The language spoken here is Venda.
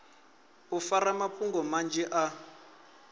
u fara mafhungo manzhi a